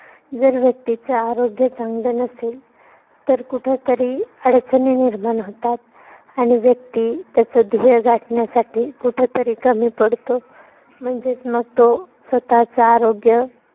जर व्यक्तीच आरोग्य चांगलं नसेल. तर कुठतरी अडचणी निर्माण होतात. आणि व्यक्ती त्याच ध्येय गाठण्यासाठी कुठतरी कमी पडतो. म्हणजेच मग तो स्वतःच आरोग्य